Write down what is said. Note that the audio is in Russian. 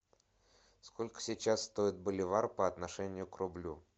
сколько сейчас стоит боливар по отношению к рублю